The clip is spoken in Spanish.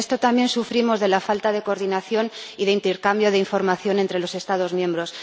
Pero en esto también sufrimos la falta de coordinación y de intercambio de información entre los Estados miembros.